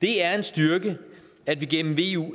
det er en styrke at vi gennem eu